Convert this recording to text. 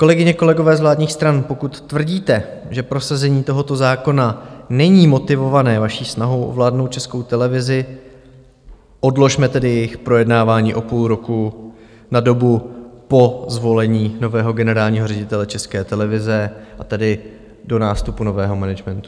Kolegyně, kolegové z vládních stran, pokud tvrdíte, že prosazení tohoto zákona není motivované vaší snahou ovládnout Českou televizi, odložme tedy jejich projednávání o půl roku na dobu po zvolení nového generálního ředitele České televize, a tedy do nástupu nového managementu.